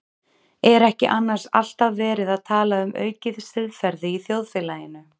Er ekki annars alltaf verið að tala um aukið siðferði í þjóðfélaginu?